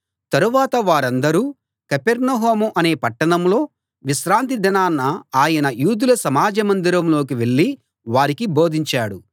తరువాత వారందరూ కపెర్నహూము అనే పట్టణంలో విశ్రాంతి దినాన ఆయన యూదుల సమాజ మందిరంలోకి వెళ్ళి వారికి బోధించాడు